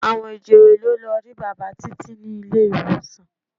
Àwọn ìjòyè ló lọ rí bàbá Títí ní ilé-ìwòsàn.